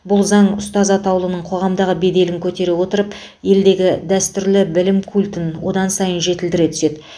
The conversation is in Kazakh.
бұл заң ұстаз атаулының қоғамдағы беделін көтере отырып елдегі дәстүрлі білім культін одан сайын жетілдіре түседі